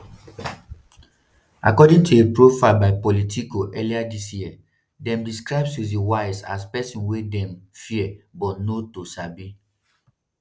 according to a profile by politico earlier dis year dem describe susie wiles as pesin wey dem fear but no to sabi.